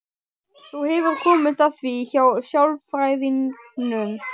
Þú hefur komist að því hjá sálfræðingnum?